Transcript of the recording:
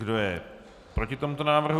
Kdo je proti tomuto návrhu?